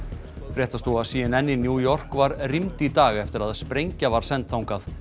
fréttastofa c n n í New York var rýmd í dag eftir að sprengja var send þangað